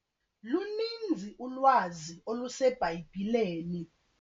Luninzi ulwazi oluseBhayibhileni.